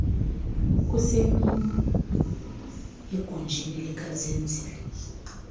kusemini egunjini likazenzile